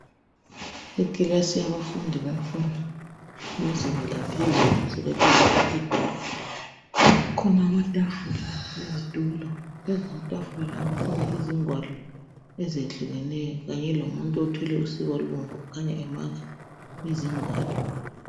Ikilasi yabafundi bemfundo yezinga laphezulu kukhona amatafula lezitulo phezulu kwamatafula lawo kukhona izigwalo ezehlukeneyo kanye lomuntu othwele usiba olubomvu okhanya emaka izingwalo .